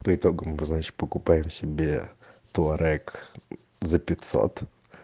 по итогам значит покупаем себе туарег за пятьсот